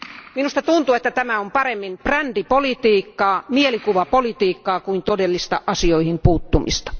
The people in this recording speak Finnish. Minusta tuntuu, että tämä on pikemminkin brändipolitiikkaa, mielikuvapolitiikkaa kuin todellista asioihin puuttumista.